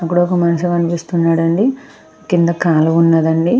అక్కడ ఒక మనిషి కనిపిస్తున్నాడు అండి కింద కాలవ ఉన్నదండి.